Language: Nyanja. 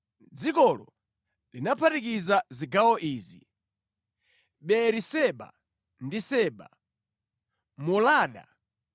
Dzikolo linaphatikiza zigawo izi: Beeriseba (ndi Seba), Molada,